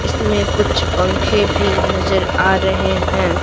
इसमें कुछ पंखे भी नजर आ रहे हैं।